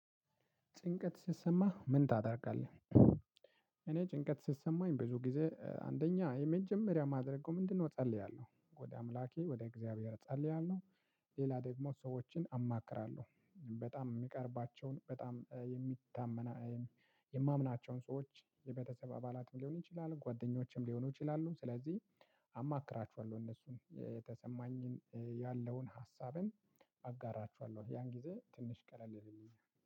ጭንቀት ስትሰማ ምን ታደርጋለህ? እኔ ጭንቀት ስትሰማኝ ብዙ ጊዜ አንደኛ የመጀመሪያ ማደርገው ምንድነው እጸልያለሁ ወደ አምላኬ ወደ እግዚአብሔር እጸልያለሁ። ሌላ ደግሞ ሰዎችን። በጣም የሚቀርባቸውን በጣም የሚታመነ። የማምናቸውን ሰዎች የቤተሰብ አባላትም ሊሆን ይችላል ጓደኞችም ሊሆኑ ይችላሉ። ስለዚህ አማክራችኋለሁ እነሱን የተሰማኝን ያለውን ሀሳብን አጋራችኋለሁ ያን ጊዜ ትንሽ ቀለል ይለኛል